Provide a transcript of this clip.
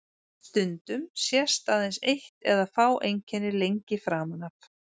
Stundum sést aðeins eitt eða fá einkenni lengi framan af.